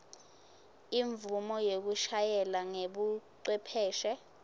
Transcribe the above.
imvumo yekushayela ngebucwepheshe